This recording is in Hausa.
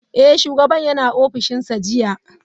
Eh, shugaban yana ofishinsa jiya.